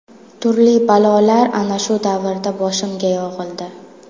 Turli balolar ana shu davrda boshimga yog‘ildi.